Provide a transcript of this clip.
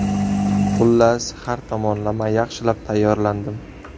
Xullas, har tomonlama yaxshilab tayyorlandim.